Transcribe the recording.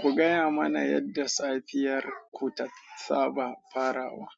Ku gaya mana yadda safiyar ku ta tsaba farawa.